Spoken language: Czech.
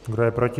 Kdo je proti?